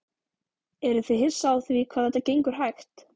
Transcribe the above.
Eruð þið hissa á því hvað þetta gengur hægt?